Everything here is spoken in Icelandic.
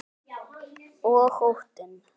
Og óttinn.